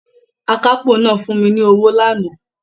Akápò náà fún mi ní owó lánàá